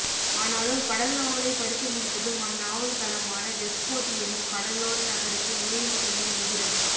ஆனாலும் கடல் நாவலை படித்துமுடித்ததும் அந்நாவல் களமான வெக்ஸ்போர்ட் எனும் கடலோர நகருக்கு நேரில் செல்லும் இந்திரன்